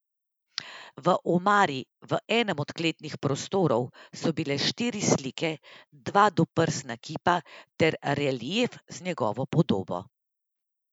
V omari v enem od kletnih prostorov so bile štiri slike, dva doprsna kipa ter relief z njegovo podobo.